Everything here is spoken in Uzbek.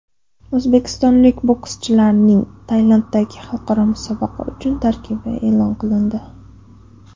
O‘zbekistonlik bokschilarning Tailanddagi xalqaro musobaqa uchun tarkibi e’lon qilindi.